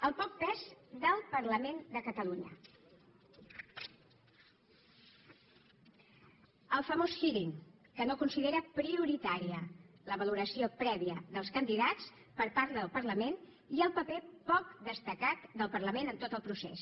el poc pes del parlament de catalunya el famós hearing que no considera prioritària la valoració prèvia dels candidats per part del parlament i el paper poc destacat del parlament en tot el procés